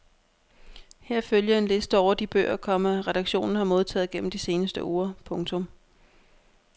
Her følger en liste over de bøger, komma redaktionen har modtaget gennem de seneste uger. punktum